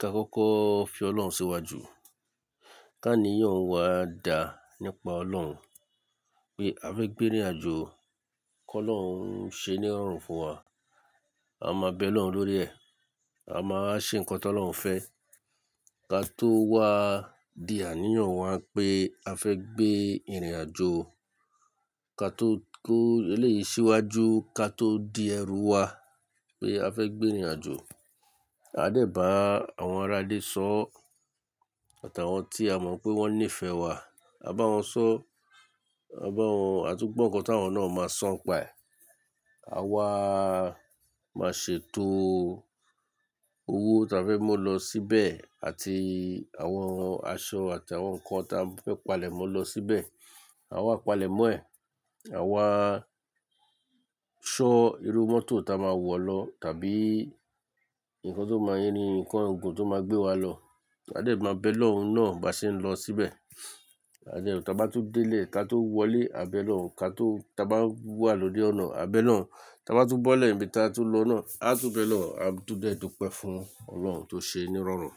ká kọ́kọ́ fi Ọlọ́run síwájú. Kí'ànìyàn wa dáa nípa Ọlọ́run. Pé a fẹ́ gbé ìnrìn àjò kó Ọlọ́run ṣe ní rọrùn fún wa. A máa bẹ Ọlọ́run lórí ẹ̀. A máa ṣe nǹkan tó Ọlọ́run fẹ́. Ka tó wá di àníyàn wa pé a fẹ́ gbé ìnrìn àjò. Ka tó kó eléyìí síwájú, ka tó di ẹrù wa pé a fẹ́ gbé ìnrìn àjò. A dẹ̀ bá àwọn ará ilé sọọ́, àt'àwọn tí a mọ̀ pé wọ́n nífẹ̀ẹ́ wa. A bá wọn sọ, a bá wọn, a tún gbọ̀ nǹkan tí àwọn náà máa sọ npa ẹ̀. A wá máa ṣètò owó ta fẹ́ mú lọ síbẹ̀ àti àwọn aṣọ àti àwọn nǹkan ta fẹ́ palẹ̀ mọ́ lọ síbẹ̀. A wá palẹ̀ mọ́ ẹ̀. A wá ṣọ irú mọ́tò ta máa wọ̀ lọ tàbí nǹkan tó máa yín ni, nǹkan ogún tó máa gbé wa lọ. A dẹ̀ máa bẹ Ọlọ́run náà bá ṣe ń lọ síbẹ̀. A dẹ̀ ta bá tún délé ka tó wọlé, a bẹ Ọlọ́run. Ka tó, ta bá wà lórí ọ̀nà, a bẹ Ọlọ́run. Ta bá tún bọ́lẹ̀ níbi ta tún lọ náà, a tún bẹ Ọlọ́run. A tún dẹ̀ dúpẹ́ fún Ọlọ́run tó ṣe ẹ́ ní irọrùn.